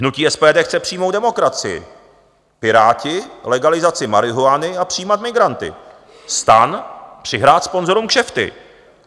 Hnutí SPD chce přímou demokracii, Piráti legalizaci marihuany a přijímat migranty, STAN přihrát sponzorům kšefty.